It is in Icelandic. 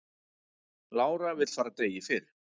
Lára vill fara degi fyrr